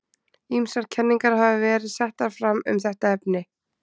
Ýmsar kenningar hafa verið settar fram um þetta efni.